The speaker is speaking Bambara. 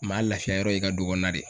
Maa lafiyayɔrɔ ye i ka du kɔɔna de.